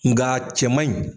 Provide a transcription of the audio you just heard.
Nka cɛmanɲi.